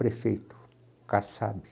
Prefeito, o Kassab.